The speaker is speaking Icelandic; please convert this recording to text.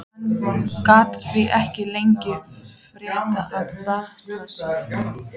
Hann gat því ekki leitað frétta af bata sínum.